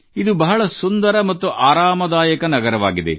ಇದು ಬಹಳ ಸುಂದರ ಮತ್ತು ಆರಾಮದಾಯಕ ನಗರವಾಗಿದೆ